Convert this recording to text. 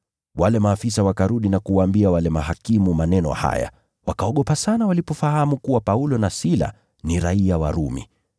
Wale maafisa wakarudi na kuwaambia wale mahakimu maneno haya, wakaogopa sana walipofahamu kuwa Paulo na Sila ni raiya wa Rumi.